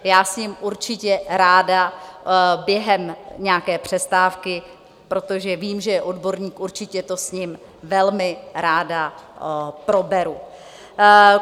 Já s ním určitě ráda během nějaké přestávky, protože vím, že je odborník, určitě to s ním velmi ráda proberu.